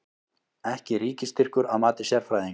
Ekki ríkisstyrkur að mati sérfræðinga